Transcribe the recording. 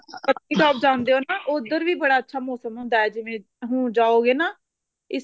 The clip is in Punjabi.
ਪਤਨੀ top ਜਾਂਦੇ ਓ ਨਾ ਉੱਧਰ ਵੀ ਬੜਾ ਅੱਛਾ ਮੋਸਮ ਹੁੰਦਾ ਏ ਜਿਵੇਂ ਹੁਣ ਜਾਓਗੇ ਨਾ ਇੱਕ